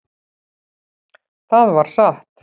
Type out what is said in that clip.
Það var satt.